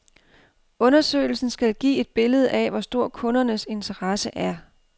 Undersøgelsen skal give et billede af, hvor stor kundernes interesse er.